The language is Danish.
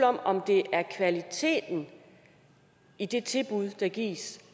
om om det er kvaliteten i det tilbud der gives